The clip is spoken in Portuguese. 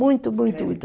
Muito, muito, muito.